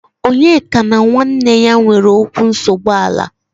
Onyeka na nwanne ya nwere okwu nsogbu ala.